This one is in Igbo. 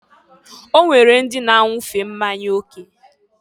O nwere ndị na-anwufe mmanya oke.